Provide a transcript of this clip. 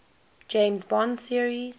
james bond series